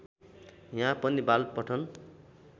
यहाँ पनि बाल पठन